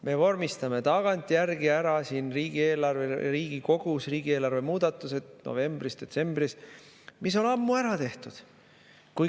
Me vormistame siin Riigikogus tagantjärgi novembris-detsembris riigieelarve muudatused, mis on ammu ära tehtud.